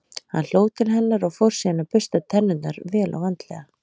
Hann hló til hennar og fór síðan að bursta tennurnar, vel og vandlega.